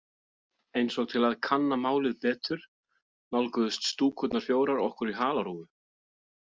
Eins og til að kanna málið betur nálguðust Stúkurnar fjórar okkur í halarófu.